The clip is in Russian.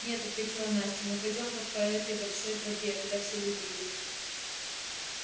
нет ответила настя мы пойдём вот по этой большой тропе куда все люди идут